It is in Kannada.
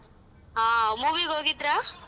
ಹಾ movie ಗ್ ಹೋಗಿದ್ರ?